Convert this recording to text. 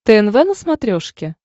тнв на смотрешке